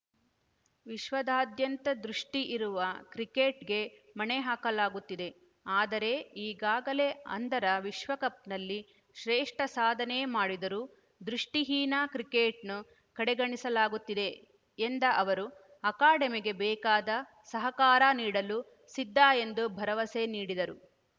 ವಿಶ್ವದಾದ್ಯಂತ ದೃಷ್ಟಿಇರುವ ಕ್ರಿಕೆಟ್‌ಗೆ ಮಣೆ ಹಾಕಲಾಗುತ್ತಿದೆ ಆದರೆ ಈಗಾಗಲೇ ಅಂಧರ ವಿಶ್ವಕಪ್‌ನಲ್ಲಿ ಶ್ರೇಷ್ಠ ಸಾಧನೆ ಮಾಡಿದರೂ ದೃಷ್ಟಿಹೀನ ಕ್ರಿಕೆಟ್‌ನ್ನು ಕಡೆಗಣಿಸಲಾಗುತ್ತಿದೆ ಎಂದ ಅವರು ಅಕಾಡೆಮಿಗೆ ಬೇಕಾದ ಸಹಕಾರ ನೀಡಲು ಸಿದ್ಧ ಎಂದು ಭರವಸೆ ನೀಡಿದರು